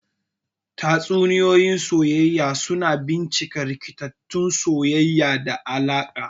Tatsuniyoyi na soyayya suna bincika rikitattun soyayya da alaƙa.